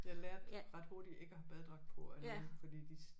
Jeg lærte ret hurtigt ikke at have badedragt på af nogen fordi de